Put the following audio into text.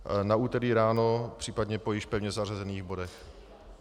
Na úterý ráno, případně po již pevně zařazených bodech.